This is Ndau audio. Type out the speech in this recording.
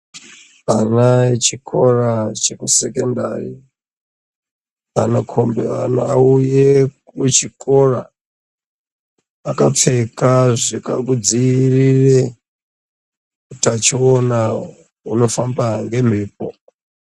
Ana echikora chekusekendari anokombiwa auye kuchikora akapfeka zvikangodzivirire utachiona hunofamba ngemhepo.